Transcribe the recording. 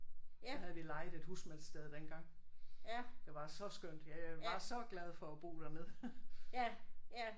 Der havde vi lejet et husmandssted dengang. Det var så skønt. Ja jeg var så glad for at bo dernede